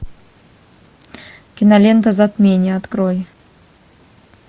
кинолента затмение открой